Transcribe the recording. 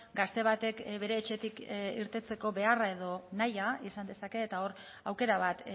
gazte batek bere etxetik irteteko beharra edo nahia izan dezake eta hor aukera bat